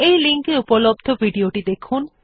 এই লিঙ্ক এ উপলব্ধ ভিডিও টি দেখুন